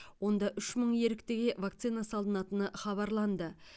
онда үш мың еріктіге вакцина салынатыны хабарланды